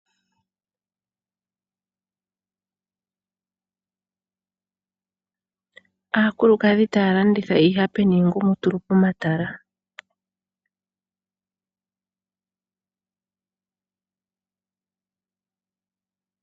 Aakulukadhi taya landitha iihape niingumutulu pomatala.